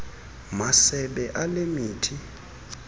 masebe ale mithi